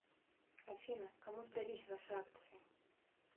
афина кому сдались ваши акции